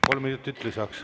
Kolm minutit lisaks.